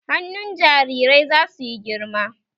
Hannun jarirai zasu yi girma